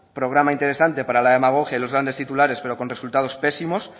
programa interesante para la demagogia y los grandes titulares pero con resultados pésimos